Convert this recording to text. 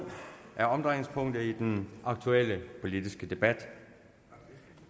er omdrejningspunktet i den aktuelle politiske debat